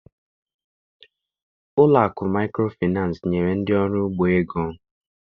Ụlọakụ maịkrofịnansị nyere ndị ọrụ ugbo ego.